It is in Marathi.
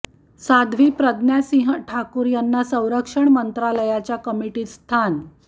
साध्वी प्रज्ञा सिंह ठाकूर यांना संरक्षण मंत्रालयाच्या कमिटीत स्थान